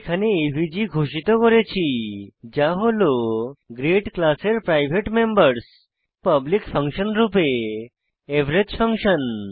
এখানে এভিজি ঘোষিত করেছি যা হল গ্রেড ক্লাসের প্রাইভেট মেম্বরস পাবলিক ফাংশন রূপে এভারেজ ফাংশন